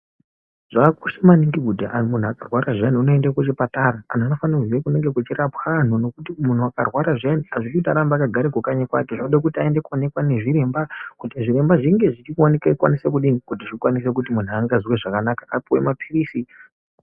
Zvakakosha maningi kuti muntu akarwara zviyani unoende kuchipatara, antu anofane kuziye kunenge kuchirapwa antu ngekuti muntu akarwara zviyani azvidi kuti arambe akagara kanyi kwake zvide kuti aende koonekwe nezviremba kuti zviremba zvinge zvichikwanisa kuti muntu angazwe zvakanaka apuwe mapirizi.